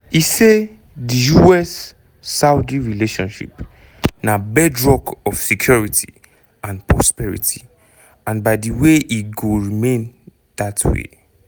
e say “di us -saudi relationship na bedrock of security and prosperity and by di way e go remain dat way.